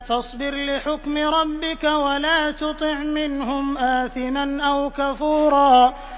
فَاصْبِرْ لِحُكْمِ رَبِّكَ وَلَا تُطِعْ مِنْهُمْ آثِمًا أَوْ كَفُورًا